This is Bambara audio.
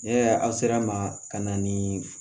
Ne aw sera ma ka na ni